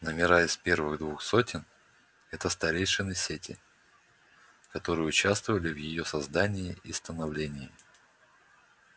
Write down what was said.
номера из первых двух сотен это старейшины сети которые участвовали в её создании и становлении